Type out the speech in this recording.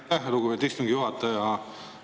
Aitäh, lugupeetud istungi juhataja!